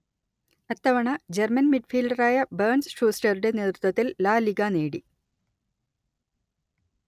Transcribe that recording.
അത്തവണ German മിഡ്ഫീൽഡറായ Bernd ഷൂസ്റ്ററുടെ നേതൃത്വത്തിൽ ലാ ലിഗാ നേടി